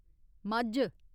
मज्झ